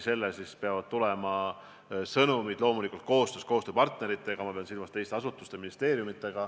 Selle kaudu peavad tulema sõnumid, loomulikult koostöös koostööpartneritega – ma pean silmas teisi asutusi-ministeeriumeid.